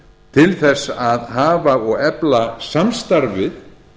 til þess að hafa og efla samstarfið